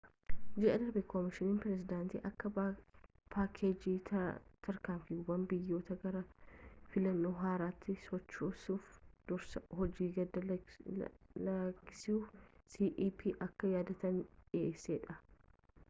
ji'a darbe koomishiniin pireezidaantii akka paakeejii tarkaanfiiwwan biyyattiii gara filannoo haaraatti sochoosuutti dursa hojii gad-lakkisuu cep akka yaadaatti dhiheesse